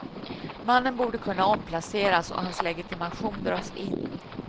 Mannen borde kunna omplaceras och hans legitimation dras in.